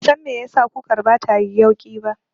Ban san me yasa kukar batayi yauƙi ba